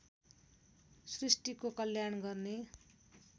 सृष्टिको कल्याण गर्ने